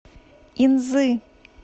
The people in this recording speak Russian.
инзы